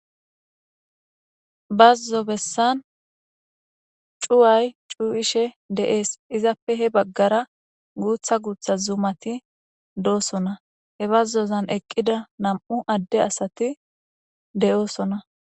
Bazo bessan cuway cuwishe des. Izappe he bagara guutha gutha zumati doosona. He bazozan eqida nam'u adde asati de'osona.